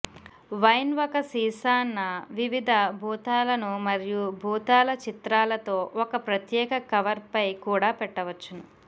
wine ఒక సీసా న వివిధ భూతాలను మరియు భూతాల చిత్రాలతో ఒక ప్రత్యేక కవర్ పై కూడా పెట్టవచ్చును